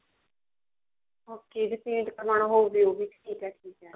okay ਜੇ paint ਕਰਵਾਉਣਾ ਹੋਵੇ ਉਹ ਵੀ ਠੀਕ ਹੈ ਠੀਕ ਹੈ